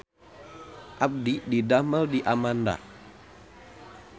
Abdi didamel di Amanda